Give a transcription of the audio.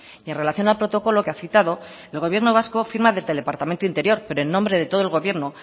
en relación al protocolo que ha citado el gobierno vasco firma desde el departamento de interior pero en nombre del todo el gobierno